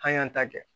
An y'an ta kɛ